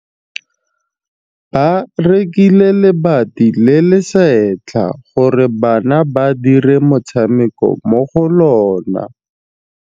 Ba rekile lebati le le setlha gore bana ba dire motshameko mo go lona.